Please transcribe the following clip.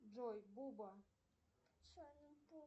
джой буба